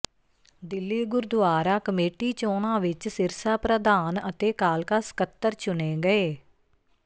Delhi gurdwara committee ਚੋਣਾਂ ਵਿਚ ਸਿਰਸਾ ਪ੍ਰਧਾਨ ਅਤੇ ਕਾਲਕਾ ਸਕੱਤਰ ਚੁਣੇ ਗਏ